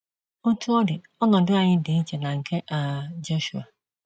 Otú ọ dị, ọnọdụ anyị dị iche na nke um Jọshụa.